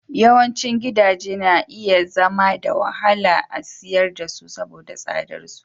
Yawancin gidaje na iya zama da wahala a siyar da su saboda tsadar su.